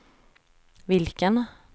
vilken